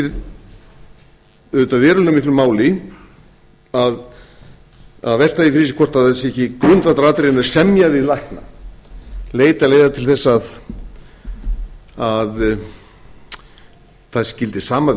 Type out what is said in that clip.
verulega miklu máli að velta því fyrir sér hvort það sé ekki grundvallaratriði að semja við lækna leita leiða til þess að það gildi sama verð